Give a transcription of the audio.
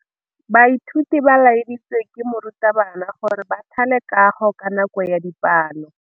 Baithuti ba laeditswe ke morutabana gore ba thale kagô ka nako ya dipalô.